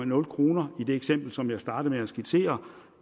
nul kroner i det eksempel som jeg startede med at skitsere